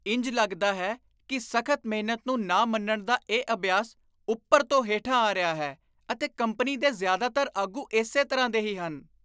ਇੰਝ ਲੱਗਦਾ ਹੈ ਕਿ ਸਖ਼ਤ ਮਿਹਨਤ ਨੂੰ ਨਾ ਮੰਨਣ ਦਾ ਇਹ ਅਭਿਆਸ ਉੱਪਰ ਤੋਂ ਹੇਠਾਂ ਆ ਰਿਹਾ ਹੈ ਅਤੇ ਕੰਪਨੀ ਦੇ ਜ਼ਿਆਦਾਤਰ ਆਗੂ ਇਸੇ ਤਰ੍ਹਾਂ ਦੇ ਹੀ ਹਨ।